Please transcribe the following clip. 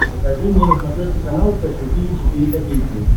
покажи мне на смотрешке канал фэшн ти ви четыре ка